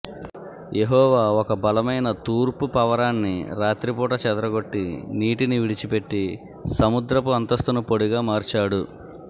యెహోవా ఒక బలమైన తూర్పు పవరాన్ని రాత్రిపూట చెదరగొట్టి నీటిని విడిచిపెట్టి సముద్రపు అంతస్తును పొడిగా మార్చాడు